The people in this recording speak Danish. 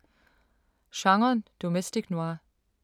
Genren domestic noir